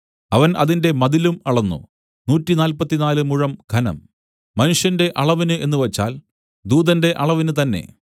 അവൻ അതിന്റെ മതിലും അളന്നു നൂറ്റിനാല്പത്തിനാല് മുഴം ഘനം മനുഷ്യന്റെ അളവിന് എന്നുവച്ചാൽ ദൂതന്റെ അളവിന് തന്നേ